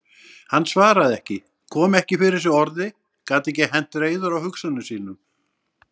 Hann svaraði ekki, kom ekki fyrir sig orði, gat ekki hent reiður á hugsunum sínum.